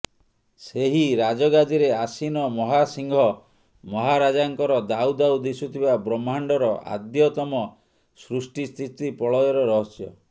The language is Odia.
ସେହି ରାଜଗାଦିରେ ଆସୀନ ମହାସିଂହ ମହାରାଜାଙ୍କର ଦାଉ ଦାଉ ଦିଶୁଥିବା ବ୍ରହ୍ମାଣ୍ଡର ଆଦ୍ୟତମ ସୃଷ୍ଟି ସ୍ଥିତି ପ୍ରଳୟର ରହସ୍ୟ